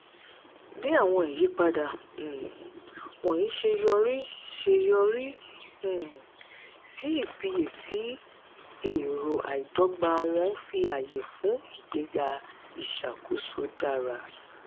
bí àwọn ìyípadà um wọ̀nyí ṣe yọrí ṣe yọrí um sí ìfiyèsí èrò àìdọ́gba wọ́n fi àyè fún ìgbéga ìṣàkóso dára.